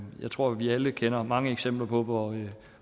jeg tror at vi alle kender mange eksempler på hvor